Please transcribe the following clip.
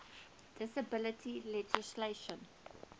disability legislation